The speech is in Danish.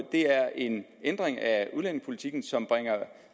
det er en ændring af udlændingepolitikken som bringer